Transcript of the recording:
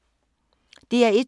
DR1